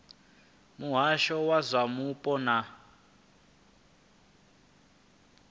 muhasho wa zwa mupo na